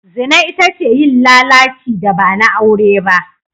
Zina ita ce yin lalaci da ba na aure ba.